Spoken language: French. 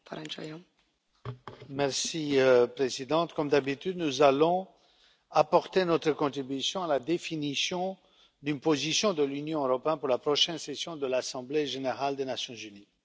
Madame la Présidente, comme d'habitude, nous allons apporter notre contribution à la définition d'une position de l'Union européenne pour la prochaine session de l'Assemblée générale des Nations unies.